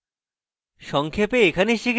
সংক্ষেপে